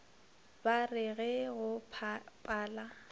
ba re ge go pala